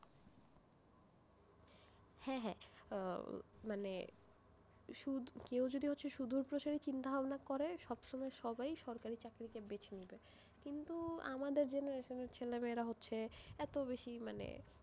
হ্যাঁ হ্যাঁ, আহ মানে কেও যদি হচ্ছে সুদূরপ্রসারী চিন্তা ভাবনা করে, সব সময় সবাই সরকারি চাকরি কে বেছে নেবে, কিন্তু আমাদের generation এর ছেলেমেয়েরা হচ্ছে এত বেশি মানে,